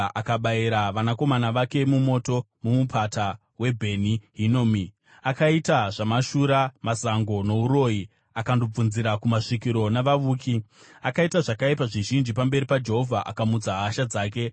Akabayira vanakomana vake mumoto mumupata weBheni Hinomi akaita zvamashura, mazango, nouroyi, akandobvunzira kumasvikiro, navavuki. Akaita zvakaipa zvizhinji pamberi paJehovha akamutsa hasha dzake.